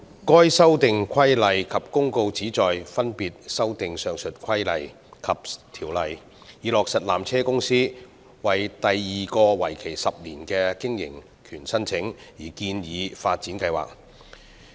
上述附屬法例旨在分別修訂有關的規例及條例，以落實山頂纜車有限公司為第二個為期10年的經營權申請而建議的發展計劃。